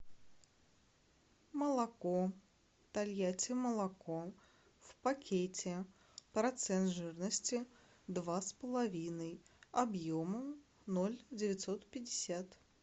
молоко тольятти молоко в пакете процент жирности два с половиной объемом ноль девятьсот пятьдесят